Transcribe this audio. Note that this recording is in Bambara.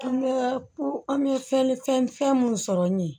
An bɛ ko an bɛ fɛn fɛn fɛn mun sɔrɔ ye